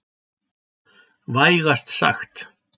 Vægast sagt.